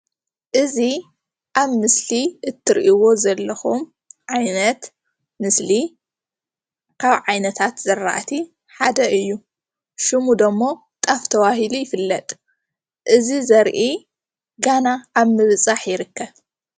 እዚ ኣብ ምስሊ እትሪእዎ ዘለኹም ዓይነት ምስሊ ካብ ዓይነታት ዝራእቲ ሓደ እዩ ስሙ ደግሞ ጣፍ ተባሂሉ ይፈለጥ እዚ ዘርኢ ገና ኣብ ምብፃሕ ይርከብ።